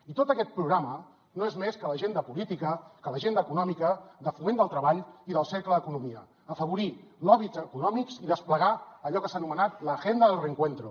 i tot aquest programa no és més que l’agenda política que l’agenda econòmica de foment del treball i del cercle d’economia afavorir lobbys econòmics i desplegar allò que s’ha anomenat la agenda del reencuentro